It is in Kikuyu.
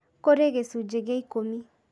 Kũrĩ gĩcunjĩ gĩa ikũmi